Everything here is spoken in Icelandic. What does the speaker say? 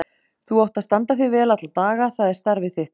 Þú átt að standa þig vel alla daga, það er starfið þitt.